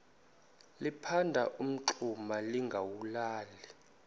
liphanda umngxuma lingawulali